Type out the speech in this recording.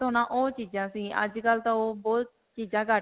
ਹੋਣਾ ਓਹ ਚੀਜਾਂ ਸੀ. ਅੱਜਕਲ੍ਹ ਤਾਂ ਓਹ ਬਹੁਤ ਚੀਜਾਂ ਘੱਟ.